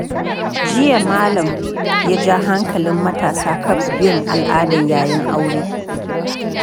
Jiya, Malam ya ja hankalin matasa kan bin al’ada yayin aure.